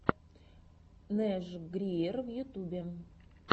нэш гриер в ютьюбе